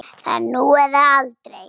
Það er nú eða aldrei.